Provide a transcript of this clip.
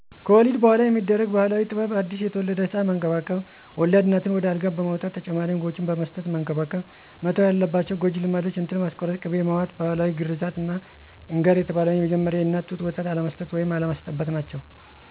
ከወሊድ በኋላ የሚደረግ ባህላዊ ጥበብ አዲስ የተወለደ ህፃን መንከባከብ፣ ወለድ እናትን ወደ አልጋ በመውጣት ተጨማሪ ምግቦችን በመስጠት መንከባከብ። መተው የለባቸው ጎጂ ልማዶች እንጥል ማስቆረጥ፣ ቅቤ መዋጥ፣ ባህላዊ ግርዘት እና እንገር የተባለውን ን የመጀመሪያውን የእናት ጡት ወተት አለመስጠት ወይም አለማስጠበት ናቸው